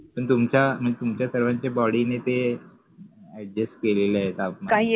तुमच्या सर्वांच्या body ने ते adjust केलेले आहे ते आपण